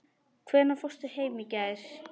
Hvenær fórstu heim í gær?